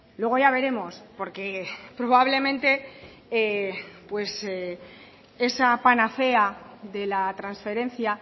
luego ya veremos porque probablemente esa panacea de la transferencia